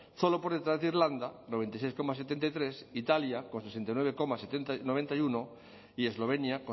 solo por detrás de irlanda noventa y seis coma setenta y tres italia con sesenta y nueve coma noventa y uno y eslovenia